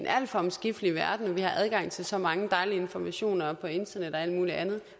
alt for omskiftelig verden vi har adgang til så mange dejlige informationer på internettet og alt muligt andet